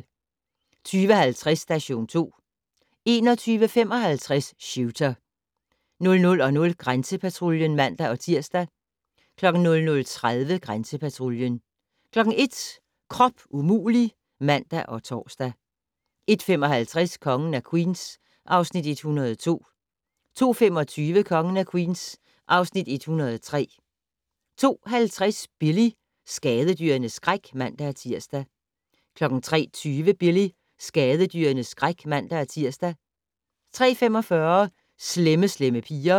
20:50: Station 2 21:55: Shooter 00:00: Grænsepatruljen (man-tir) 00:30: Grænsepatruljen 01:00: Krop umulig! (man og tor) 01:55: Kongen af Queens (Afs. 102) 02:25: Kongen af Queens (Afs. 103) 02:50: Billy - skadedyrenes skræk (man-tir) 03:20: Billy - skadedyrenes skræk (man-tir) 03:45: Slemme Slemme Piger